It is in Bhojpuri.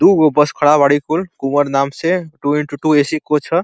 दुगो बस खड़ा बड़ी कुल कुंवर नाम से। Two into two AC. Coach ह।